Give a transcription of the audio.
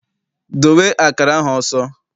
Dowe akara ahụ ọsọ!